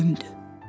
Ölümdü.